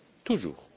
toujours